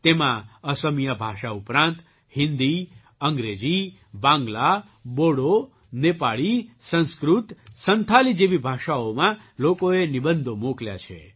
તેમાં અસમિયા ભાષા ઉપરાંત હિન્દી અંગ્રેજી બાંગ્લા બોડો નેપાળી સંસ્કૃત સંથાલી જેવી ભાષાઓમાં લોકોએ નિબંધો મોકલ્યા છે